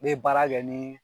N me baara kɛ nin